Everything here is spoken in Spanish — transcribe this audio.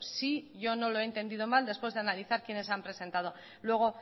si yo no lo he entendido mal después de analizar quienes han presentado luego